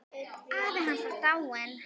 Afi hans var dáinn.